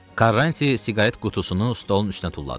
Karanti siqaret qutusunu stolun üstünə tulladı.